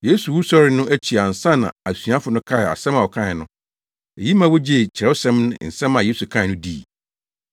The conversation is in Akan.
Yesu wusɔre no akyi ansa na asuafo no kaee asɛm a ɔkae no. Eyi ma wogyee Kyerɛwsɛm ne nsɛm a Yesu kae no dii.